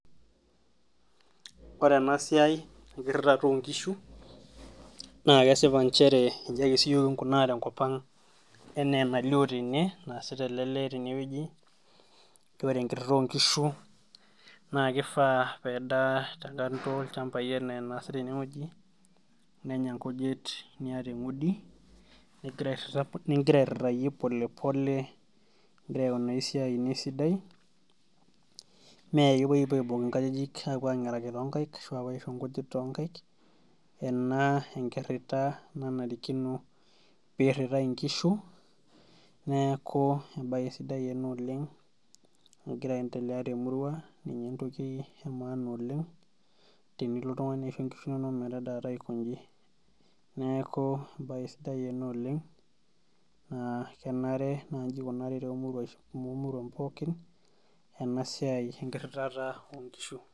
Ore ena siai, enkirritata onkishu, na kesipa nchere iji ake siyiok kinkunaa tenkop ang', enaa enalio tene naasita ele lee tenewueji, ore enkirrirra onkishu, na kifaa pedaa tekando ilchambai enaa enaasita enewueji, nenya nkujit niata eng'udi, nigira airrirrayie polepole, igira aikunaa esiai ino esidai, mekepoi apuo aibung' inkajijik apuo ang'eraki tonkaik, ashu apuo aisho nkujit tonkaik, ena enkirrita nanarikino peirrirrai inkishu, neeku ebae sidai ena oleng nagira aendelea temurua, ninye entoki emaana oleng, tenilo oltung'ani aisho nkishu nonok metadaata aikoji. Neeku ebae sidae ena oleng, naa kenare naji ikunari tomuruan pookin, enasiai enkirritata onkishu.